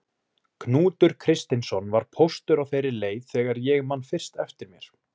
Knútur Kristinsson var póstur á þeirri leið þegar ég man fyrst eftir mér.